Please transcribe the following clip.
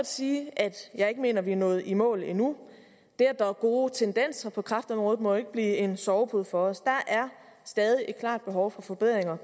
sige at jeg ikke mener vi er nået i mål endnu det at der er gode tendenser på kræftområdet må jo ikke blive en sovepude for os der er stadig et klart behov for forbedring